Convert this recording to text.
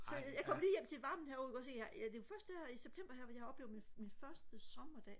så jeg kom lige hjem til varmen her du kan godt se jeg det er først her i september jeg har oplevet min min første sommerdag